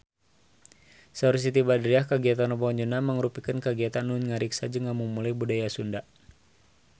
Saur Siti Badriah kagiatan Rebo Nyunda mangrupikeun kagiatan anu ngariksa jeung ngamumule budaya Sunda